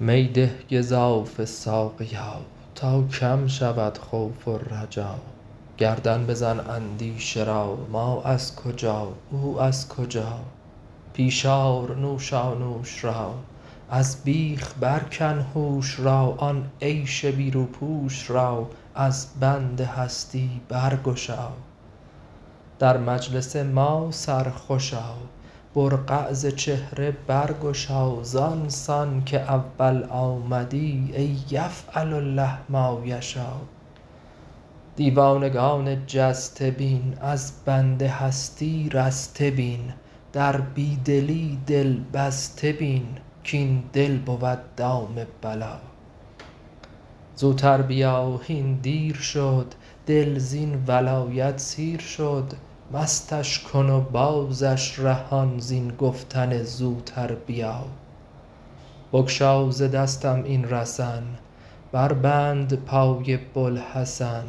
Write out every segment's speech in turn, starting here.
می ده گزافه ساقیا تا کم شود خوف و رجا گردن بزن اندیشه را ما از کجا او از کجا پیش آر نوشانوش را از بیخ برکن هوش را آن عیش بی روپوش را از بند هستی برگشا در مجلس ما سرخوش آ برقع ز چهره برگشا زان سان که اول آمدی ای یفعل الله ما یشاٰ دیوانگان جسته بین از بند هستی رسته بین در بی دلی دل بسته بین کاین دل بود دام بلا زوتر بیا هین دیر شد دل زین ولایت سیر شد مستش کن و بازش رهان زین گفتن زوتر بیا بگشا ز دستم این رسن بربند پای بوالحسن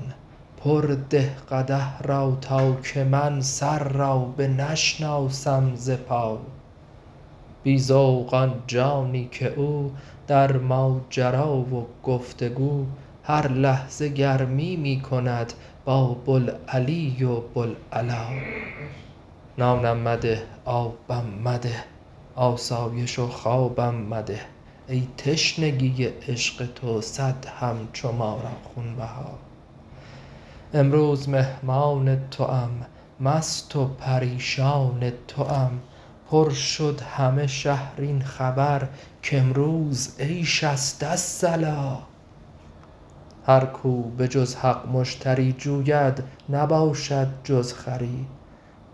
پر ده قدح را تا که من سر را بنشناسم ز پا بی ذوق آن جانی که او در ماجرا و گفت و گو هر لحظه گرمی می کند با بوالعلی و بوالعلا نانم مده آبم مده آسایش و خوابم مده ای تشنگی عشق تو صد همچو ما را خونبها امروز مهمان توام مست و پریشان توام پر شد همه شهر این خبر کامروز عیش است الصلاٰ هر کو به جز حق مشتری جوید نباشد جز خری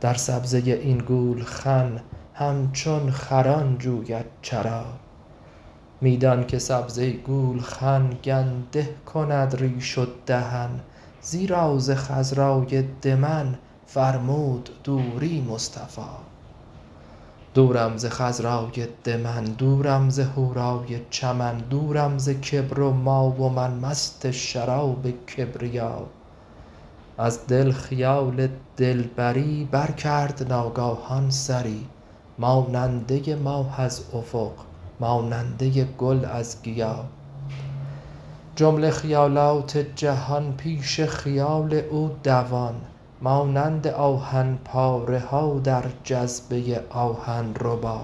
در سبزه این گولخن همچون خران جوید چرا می دان که سبزه گولخن گنده کند ریش و دهن زیرا ز خضرای دمن فرمود دوری مصطفی دورم ز خضرای دمن دورم ز حورای چمن دورم ز کبر و ما و من مست شراب کبریا از دل خیال دلبری برکرد ناگاهان سری ماننده ی ماه از افق ماننده ی گل از گیا جمله خیالات جهان پیش خیال او دوان مانند آهن پاره ها در جذبه آهن ربا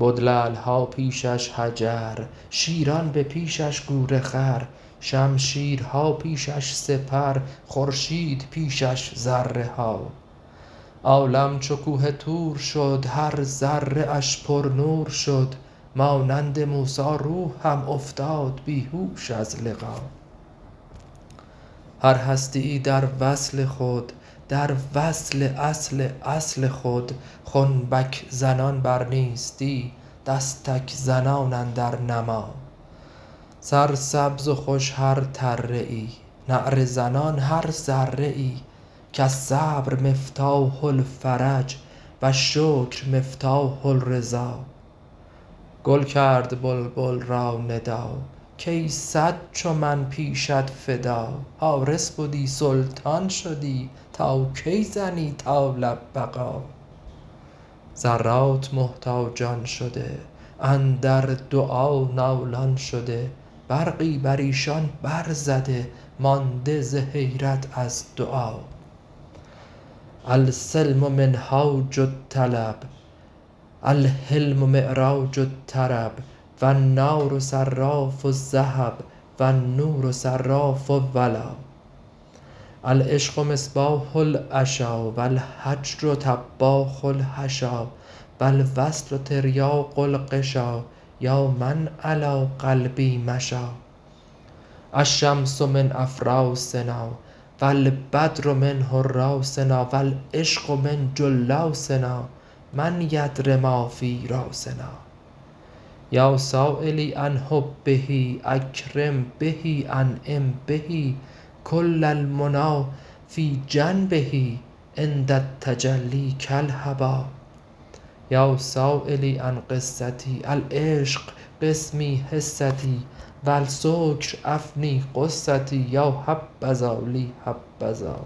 بد لعل ها پیش اش حجر شیران به پیش اش گورخر شمشیرها پیش اش سپر خورشید پیش اش ذره ها عالم چو کوه طور شد هر ذره اش پرنور شد مانند موسی روح هم افتاد بی هوش از لقا هر هستی ای در وصل خود در وصل اصل اصل خود خنبک زنان بر نیستی دستک زنان اندر نما سرسبز و خوش هر تره ای نعره زنان هر ذره ای کالصبر مفتاح الفرج و الشکر مفتاح الرضا گل کرد بلبل را ندا کای صد چو من پیشت فدا حارس بدی سلطان شدی تا کی زنی طال بقا ذرات محتاجان شده اندر دعا نالان شده برقی بر ایشان برزده مانده ز حیرت از دعا السلم منهاج الطلب الحلم معراج الطرب و النار صراف الذهب و النور صراف الولا العشق مصباح العشا و الهجر طباخ الحشا و الوصل تریاق الغشا یا من علی قلبی مشا الشمس من افراسنا و البدر من حراسنا و العشق من جلاسنا من یدر ما فی راسنا یا سایلی عن حبه اکرم به انعم به کل المنی فی جنبه عند التجلی کالهبا یا سایلی عن قصتی العشق قسمی حصتی و السکر افنی غصتی یا حبذا لی حبذا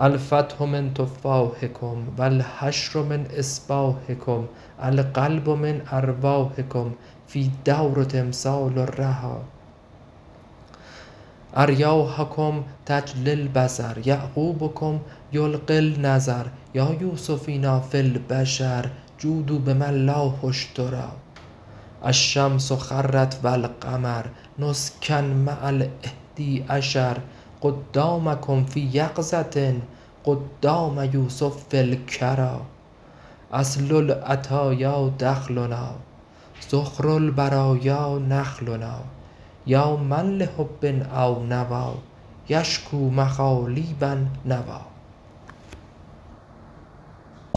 الفتح من تفاحکم و الحشر من اصباحکم القلب من ارواحکم فی الدور تمثال الرحا اریاحکم تجلی البصر یعقوبکم یلقی النظر یا یوسفینا فی البشر جودوا بما الله اشتری الشمس خرت و القمر نسکا مع الاحدی عشر قدامکم فی یقظه قدام یوسف فی الکری اصل العطایا دخلنا ذخر البرایا نخلنا یا من لحب او نوی یشکوا مخالیب النوی